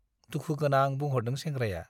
दुखु गोनां बुंहरदों सेंग्राया ।